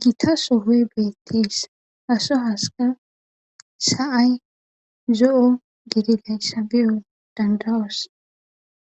gita sofey beettis haso haska sa7ay zo7o gidi layssa biyo dandawos